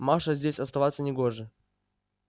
маше здесь оставаться не гоже